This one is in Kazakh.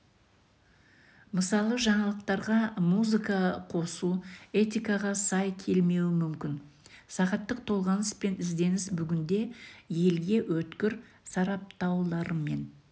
мысалы жаңалықтарға музыка қосу этикаға сай келмеуі мүмкін сағаттық толғаныс пен ізденіс бүгінде елге өткір сараптауларымен